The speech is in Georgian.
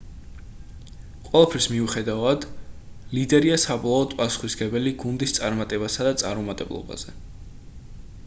ყველაფრის მიუხედავად ლიდერია საბოლოოდ პასუხისმგებელი გუნდის წარმატებასა და წარუმატებლობაზე